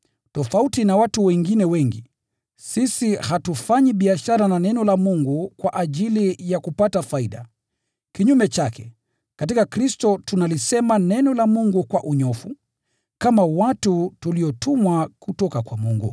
Tofauti na watu wengine wengi, sisi hatufanyi biashara na Neno la Mungu kwa ajili ya kupata faida. Kinyume chake, katika Kristo tunalisema Neno la Mungu kwa unyoofu, kama watu tuliotumwa kutoka kwa Mungu.